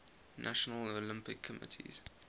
national olympic committees